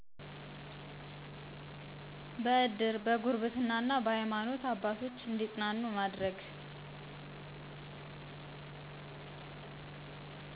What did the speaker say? በእድር፣ በጉርብትና እና በሀይማኖት አባቶች እንዲፅናኑ ማድረግ